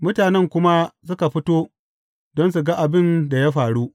Mutanen kuma suka fito don su ga abin da ya faru.